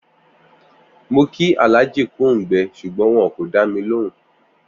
Mo̩ kí Àlájà kú òǹgbe̩ s̩ùgbón wo̩n kò dá mi lòhùn